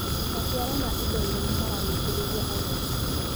Maciaro ma indo nyũmũ maragucĩrĩria agũri.